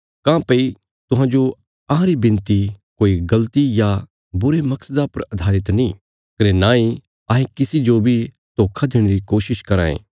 काँह्भई तुहांजो अहांरी विनती कोई गल़ती या बुरे मकसदा पर अधारित नीं कने नांई अहें किसी जो बी धोखा देणे री कोशिश कराँ ये